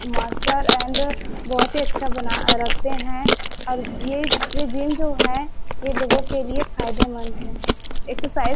ये मास्टर एंड बहुत ही अच्छा बना के रखते है और ये ये जिम जो हैं ये लोगों के लिए फायदेमंद हैं एक्सरसाइज --